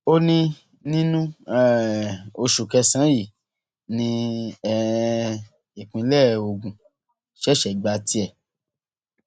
ó ní nínú um oṣù kẹsànán yìí ni um ìpínlẹ ogun ṣẹṣẹ gba tiẹ